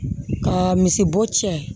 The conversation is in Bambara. Ka misibo cɛ